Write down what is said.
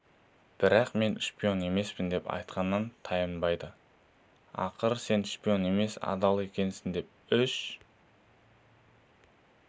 бірақ мен шпион емеспін деп айтқанынан танбайды ақыры сен шпион емес адал екенсің деп үш